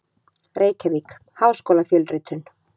Reykjavík: Háskólafjölritun.